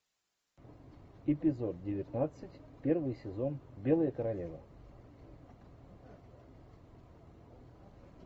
эпизод девятнадцать первый сезон белая королева